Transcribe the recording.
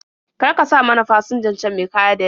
Kar ka sa mana fasinjan can me kaya da yawa.